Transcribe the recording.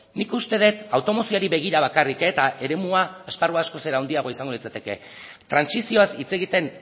nik uste dut automozioari begira bakarrik eta eremua esparrua askoz ere handiagoa izango litzateke trantsizioaz hitz egiten